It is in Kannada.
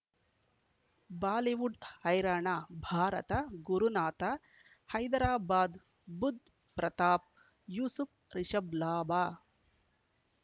ಬಾಲಿವುಡ್ ಹೈರಾಣ ಭಾರತ ಗುರುನಾಥ ಹೈದರಾಬಾದ್ ಬುಧ್ ಪ್ರತಾಪ್ ಯೂಸುಫ್ ರಿಷಬ್ ಲಾಭ